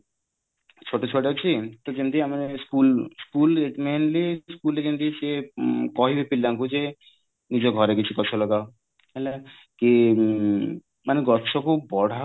ଛୋଟ ଛୁଆଟେ ଅଛି ତ ଯେମିତି ଆମେ school school mainly school ରେ ଯେମିତି ସେ କହିବେ ପିଲାଙ୍କୁ ଯେ ନିଜ ଘରେ କିଛି ଗଛ ଲଗାଅ ହେଲା କି ମାନେ ଗଛକୁ ବଢାଅ